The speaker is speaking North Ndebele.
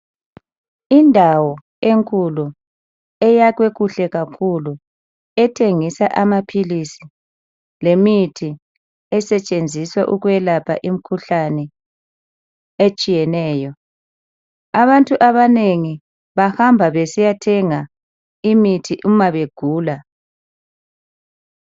Indawo enkulu eyakhiwe kuhle kakhulu ethengisa amaphilisi lemithi esetshenziswa ukwelapha imikhuhlane etshiyeneyo abantu abanengi bahamba besiyathenga imithi uma begula.